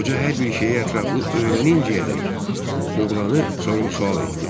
Qoca hər bir şeyi ətraflı öyrəninəcəkdək oğlanı sorğu-sual etdi.